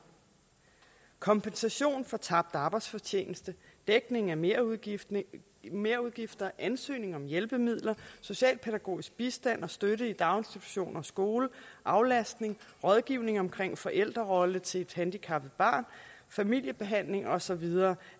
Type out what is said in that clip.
kompensation for tabt arbejdsfortjeneste dækning af merudgifter merudgifter ansøgning om hjælpemidler socialpædagogisk bistand og støtte i daginstitutioner og skole aflastning rådgivning omkring forældrerolle til et handicappet barn familiebehandling og så videre